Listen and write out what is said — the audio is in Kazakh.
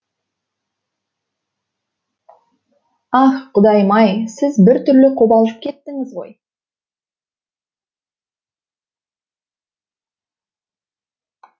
ах құдайым ай сіз бір түрлі қобалжып кеттіңіз ғой